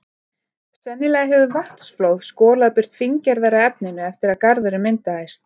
Sennilega hefur vatnsflóð skolað burt fíngerðara efninu eftir að garðurinn myndaðist.